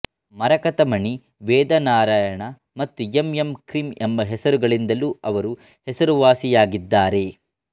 ಮರಾಕತಮಣಿ ವೇದಾನಾರಾಯಣ ಮತ್ತು M M Kreem ಎಂಬ ಹೆಸರುಗಳಿಂದಲೂ ಅವರು ಹೆಸರುವಾಸಿಯಾಗಿದ್ದಾರೆ